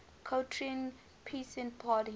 croatian peasant party